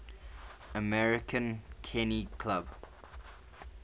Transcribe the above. american kennel club